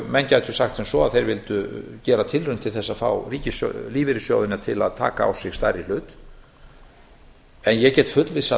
menn gætu sagt sem svo að þeir vildu gera tilraun til að fá lífeyrissjóðina til að taka á sig stærri hlut en ég get fullvissað